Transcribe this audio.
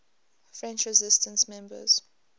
french resistance members